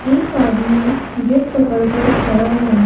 एक आदमी गेट पकड़ कड़ खड़ा है।